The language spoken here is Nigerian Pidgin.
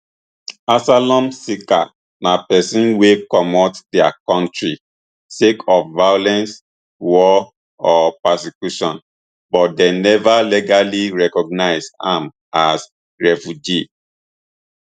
asylum seeker na pesin wey comot dia kontri sake of violence war or persecution but dem neva legally recognised am as refugee